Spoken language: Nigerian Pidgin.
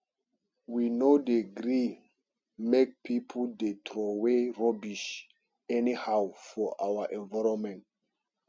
we no dey gree make pipo dey troway rubbish anyhow for our environment